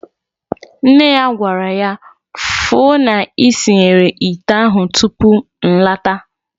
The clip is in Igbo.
Nne ya gwara ya nnyaa, "Fu na isinyere ite ahụ tupu nlata."